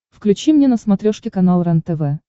включи мне на смотрешке канал рентв